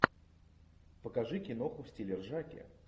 покажи киноху в стиле ржаки